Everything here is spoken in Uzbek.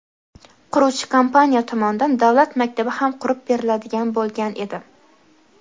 quruvchi kompaniya tomonidan davlat maktabi ham qurib beriladigan bo‘lgan edi.